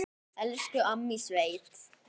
Elsku amma í sveit.